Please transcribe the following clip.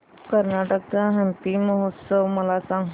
कर्नाटक चा हम्पी महोत्सव मला सांग